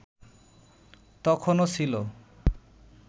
তখনো ছিল